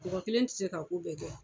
Mɔgɔ kelen tɛ se ka ko bɛɛ kɛ.